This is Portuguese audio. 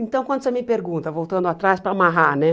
Então, quando você me pergunta, voltando atrás, para amarrar, né?